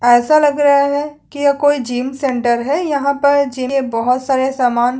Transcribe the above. ऐसा लग रहा है की यह कोई जिम सेंटर है यहाँ पर जिम बहोत सारे समान--